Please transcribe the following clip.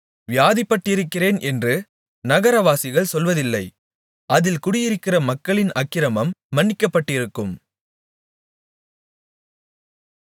வியாதிப்பட்டிருக்கிறேன் என்று நகரவாசிகள் சொல்வதில்லை அதில் குடியிருக்கிற மக்களின் அக்கிரமம் மன்னிக்கப்பட்டிருக்கும்